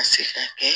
Ka se ka kɛ